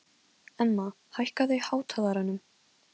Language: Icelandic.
Emma, hækkaðu í hátalaranum.